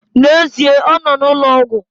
N'ezie, ọ nọ n'ụlọ ọgwụ